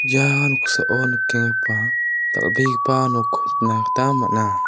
ia noksao nikenggipa dal·begipa nokko nikna gita man·a.